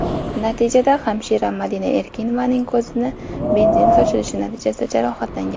Natijada hamshira Madina Erkinovaning ko‘ziga benzin sochilishi natijasida jarohatlangan.